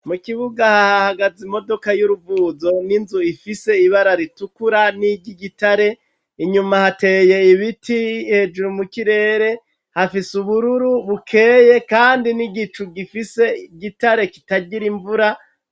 Mu kibuga hahagaze imodoka y'uruvuzo n'inzu ifise ibara ritukura n'iryigitare. Inyuma hateye ibiti hejuru mu kirere, hafise ubururu bukeye kandi n'igicu gifise igitare kitagira imvura.